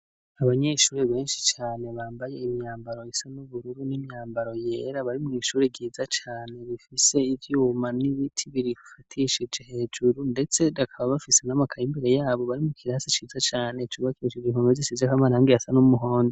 Abanyeshuri benshi cane bambaye imyambaro isa n'ubururu n'imyambaro yera bari mw'ishuri ryiza cane rifise ivyuma n'ibiti birifatishije hejuru, ndetse bakaba bafise n'amakaye imbere yabo, bari mu kirasi ciza cane cubakishije impome zisizeko amarangi asa n'umuhondo